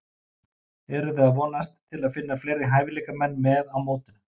Eruði að vonast til að finna fleiri hæfileikamenn með á mótinu?